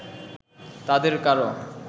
তাদের কারো